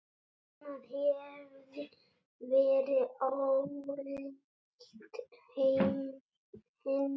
Annað hefði verið ólíkt henni.